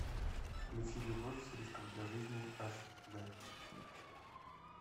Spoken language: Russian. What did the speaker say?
включи любовь с риском для жизни аш дэ